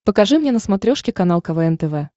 покажи мне на смотрешке канал квн тв